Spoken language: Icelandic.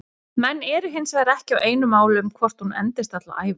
Menn eru hinsvegar ekki á einu máli um hvort hún endist alla ævi.